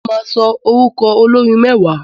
Mo máa sọ orúkọ olórin mẹ́wàá